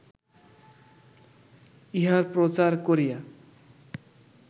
ইহার প্রচার করিয়া